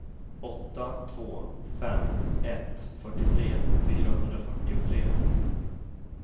åtta två fem ett fyrtiotre fyrahundrafyrtiotre